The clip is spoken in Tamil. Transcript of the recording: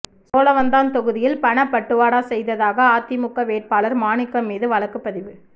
சோழவந்தான் தொகுதியில் பணப்பட்டுவாடா செய்ததாக அதிமுக வேட்பாளர் மாணிக்கம் மீது வழக்குப்பதிவு